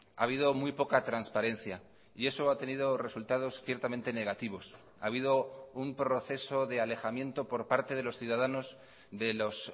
ha habido muy poca transparencia y eso ha tenido resultados ciertamente negativos ha habido un proceso de alejamiento por parte de los ciudadanos de los